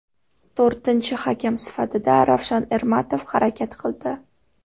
To‘rtinchi hakam sifatida Ravshan Ermatov harakat qildi.